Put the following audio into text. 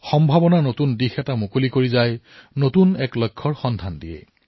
সম্ভাৱনাৰ পথ প্ৰশস্ত কৰে আৰু নতুন লক্ষ্যক দিশ প্ৰদান কৰে